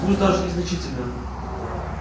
пусть даже незначительно